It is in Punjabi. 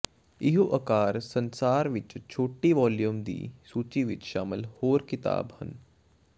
ਇਹੋ ਅਕਾਰ ਸੰਸਾਰ ਵਿੱਚ ਛੋਟੀ ਵਾਲੀਅਮ ਦੀ ਸੂਚੀ ਵਿੱਚ ਸ਼ਾਮਿਲ ਹੋਰ ਿਕਤਾਬ ਹਨ